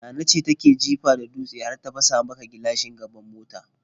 Nana ce take jifa da dutse har ta fasa maka gilashin gaban mota.